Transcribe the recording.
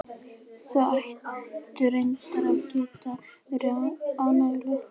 Þau ættu reyndar að geta verið ánægjuleg.